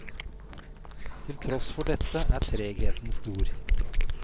Til tross for dette er tregheten stor.